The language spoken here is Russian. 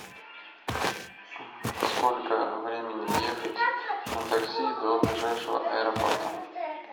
сколько времени ехать на такси до ближайшего аэропорта